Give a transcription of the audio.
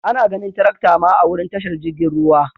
Ana ganin tirakta ma a'wurin tashar jirigin ruwa.